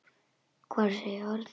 Hvorug segir orð.